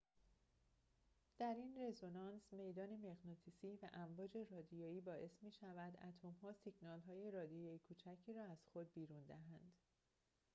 در این رزونانس میدان مغناطیسی و امواج رادیویی باعث می‌شود اتم‌ها سیگنال‌های رادیویی کوچکی را از خود بیرون دهند